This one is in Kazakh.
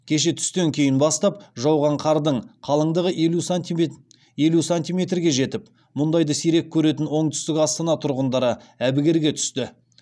кеше түстен кейін бастап жауған қардың қалыңдығы елу сантиметрге жетіп мұндайды сирек көретін оңтүстік астана тұрғындары әбігерге түсті